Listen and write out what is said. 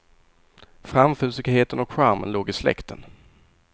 Framfusigheten och charmen låg i släkten.